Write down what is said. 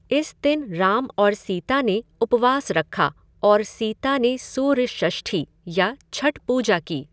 इस दिन राम और सीता ने उपवास रखा और सीता ने सूर्य षष्ठी या छठ पूजा की।